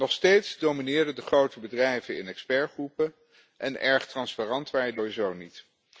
Nog steeds domineren de grote bedrijven in expertgroepen en erg transparant waren die sowieso niet.